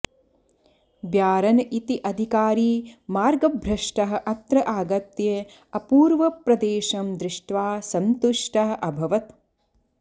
baron इति अधिकारी मार्गभ्रष्टः अत्र आगत्य अपूर्वप्रदेशं दृष्ट्वा सन्तुष्टः अभवत्